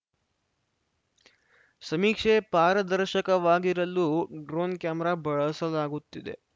ಸಮೀಕ್ಷೆ ಪಾರದರ್ಶಕವಾಗಿರಲು drone camera ಬಳಸಲಾಗುತ್ತಿದೆ